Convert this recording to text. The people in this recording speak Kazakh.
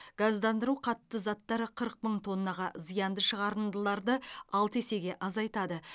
газдандыру қатты заттар қырық мың тоннаға зиянды шығарындыларды алты есеге азайтады